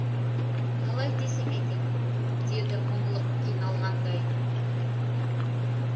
қалай десем екен деді мұңлық қиналғандай